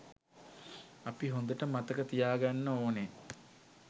අපි හොඳට මතක තියාගන්න ඕන